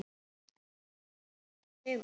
Andri: Sætur sigur?